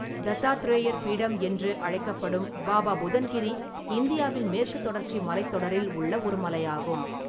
தத்தாத்ரேயர் பீடம் என்றும் அழைக்கப்படும் பாபா புதன் கிரி இந்தியாவின் மேற்குத் தொடர்ச்சி மலைத்தொடரில் உள்ள ஒரு மலையாகும்.